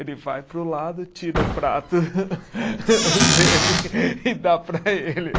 Ele vai para o lado, tira o prato dele e dá para ele.